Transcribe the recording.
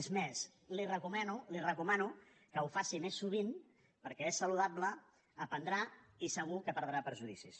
és més li recomano li ho recomano que ho faci més sovint perquè és saludable aprendrà i segur que perdrà prejudicis